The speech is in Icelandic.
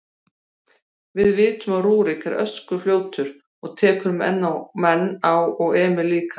Við vitum að Rúrik er öskufljótur og tekur menn á og Emil líka.